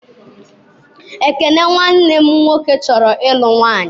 Ekene nwanne m nwoke chọrọ ịlụ nwaanyị.